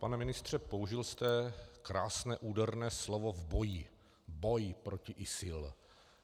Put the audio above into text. Pane ministře, použil jste krásné úderné slovo v boji - boj proti ISIL.